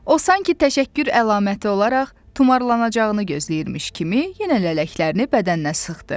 O sanki təşəkkür əlaməti olaraq tumarlanacağını gözləyirmiş kimi yenə lələklərini bədəninə sıxdı.